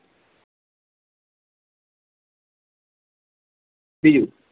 બીજું